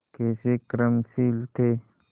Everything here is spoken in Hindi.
कैसे कर्मशील थे